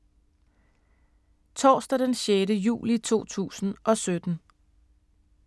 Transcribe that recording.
Torsdag d. 6. juli 2017